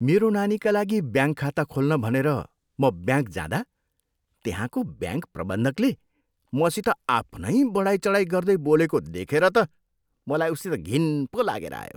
मेरो नानीका लागि ब्याङ्क खाता खोल्न भनेर म ब्याङ्क जाँदा त्यहाँको ब्याङ्क प्रबन्धकले मसित आफ्नै बढाइचढाई गर्दै बोलेको देखेर त मलाई उसित घिन पो लागेर आयो।